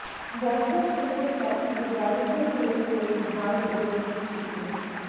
বছর শেষের পার্টিতে বাড়িতেই তৈরি করুন হার্ব রোস্ট চিকেন